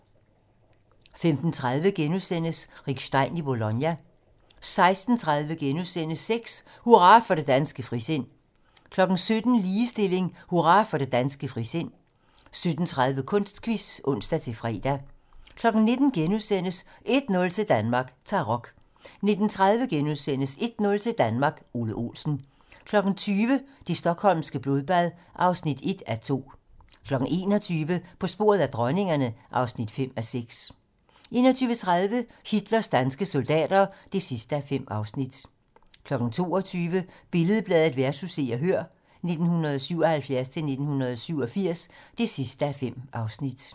15:30: Rick Stein i Bologna * 16:30: Sex: Hurra for det danske frisind * 17:00: Ligestilling: Hurra for det danske frisind 17:30: Kunstquiz (ons-fre) 19:00: 1-0 til Danmark: Tarok * 19:30: 1-0 til Danmark: Ole Olsen * 20:00: Det stockholmske blodbad (1:2) 21:00: På sporet af dronningerne (5:6) 21:30: Hitlers danske soldater (5:5) 22:00: Billed-Bladet vs. Se og Hør (1977-1987) (5:5)